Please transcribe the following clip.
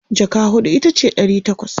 jaka huɗu itace Dari takwas